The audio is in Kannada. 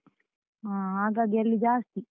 ಹಾ, ಹಾಗಾಗಿ ಅಲ್ಲಿ ಜಾಸ್ತಿ.